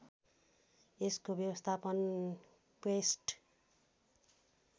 यसको व्यवस्थापन क्वेस्ट